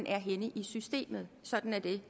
er henne i systemet og sådan er det